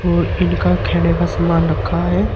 और इनका खेने का सामान रखा है।